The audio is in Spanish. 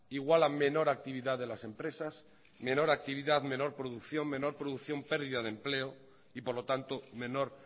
igual a menor actividad de las empresas menor actividad menor producción menor producción pérdida de empleo y por lo tanto menor